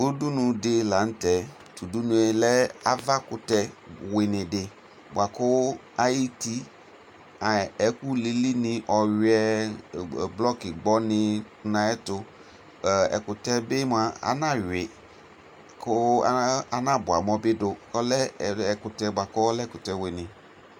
Udunu dɩ lanʋtɛ ɔlɛ ava ɛkʋtɛ wɩnɩdɩ bʋakʋ ayʋ ɛtʋ elili kʋ ɔwuɩɛ blɔkɩ gbɔnɩ dʋ ayʋ ɛtʋ znawuɩ ɛkʋtɛ yɛbɩ kʋ ana bua amɔbɩ dʋ dʋ ɔlɛ ɛkʋtɛ wɩnɩ